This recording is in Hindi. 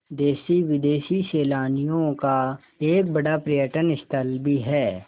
देशी विदेशी सैलानियों का एक बड़ा पर्यटन स्थल भी है